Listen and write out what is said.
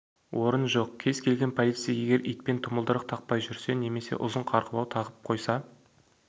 орын жоқ кез келген полицей егер итпен тұмылдырық тақпай жүрсе немесе ұзын қарғыбау тағып қойса